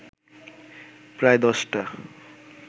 প্রায় দশটা